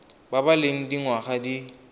ba ba leng dingwaga di